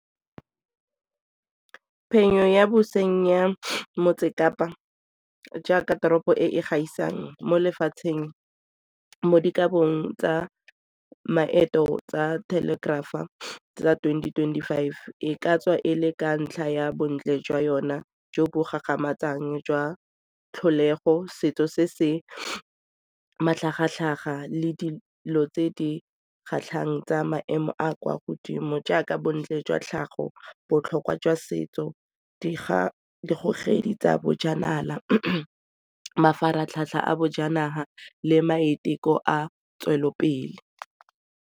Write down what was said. Phenyo ya boseng ya motse kapa jaaka teropo e e gaisang mo lefatsheng mo dikabong tsa maeto tsa telegrapher a tsa twenty, twenty-five e ka tswa e le ka ntlha ya bontle jwa yona jo bo gagamatsang jwa tlholego, setso se se matlhagatlhaga le dilo tse di kgatlhang tsa maemo a kwa godimo jaaka bontle jwa tlhago, botlhokwa jwa setso digogedi tsa bojanala, mafaratlhatlha a bojanala le maiteko a tswelelopele.